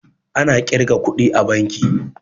Ana ƙirga kuɗi a banki